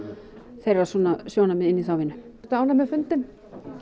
þeirra svona sjónarmið inn í þá vinnu ertu ánægð með fundinn